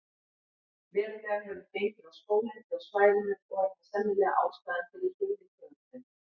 Verulega hefur gengið á skóglendið á svæðinu og er það sennilega ástæðan fyrir hruni tegundarinnar.